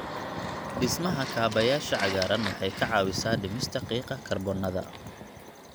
Dhismaha kaabayaasha cagaaran waxay ka caawisaa dhimista qiiqa kaarboon-da.